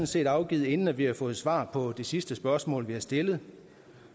set afgivet inden vi har fået svar på det sidste spørgsmål vi har stillet